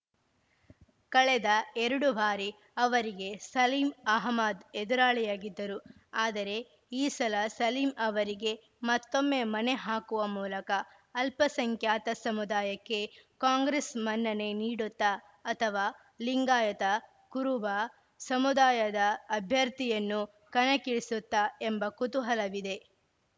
ಕಳೆದ ಎರಡು ಬಾರಿ ಅವರಿಗೆ ಸಲೀಂ ಅಹಮದ್‌ ಎದುರಾಳಿಯಾಗಿದ್ದರು ಆದರೆ ಈ ಸಲ ಸಲೀಂ ಅವರಿಗೆ ಮತ್ತೊಮ್ಮೆ ಮಣೆ ಹಾಕುವ ಮೂಲಕ ಅಲ್ಪಸಂಖ್ಯಾತ ಸಮುದಾಯಕ್ಕೆ ಕಾಂಗ್ರೆಸ್‌ ಮನ್ನಣೆ ನೀಡುತ್ತಾ ಅಥವಾ ಲಿಂಗಾಯತ ಕುರುಬ ಸಮುದಾಯದ ಅಭ್ಯರ್ಥಿಯನ್ನು ಕಣಕ್ಕಿಳಿಸುತ್ತಾ ಎಂಬ ಕುತೂಹಲವಿದೆ